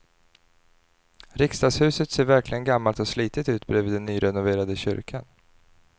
Riksdagshuset ser verkligen gammalt och slitet ut bredvid den nyrenoverade kyrkan.